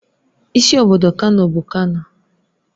Isi obodo Kano bụ Kano